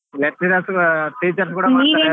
lecturers teachers ಕೂಡಾ .